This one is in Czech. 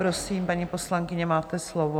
Prosím, paní poslankyně, máte slovo.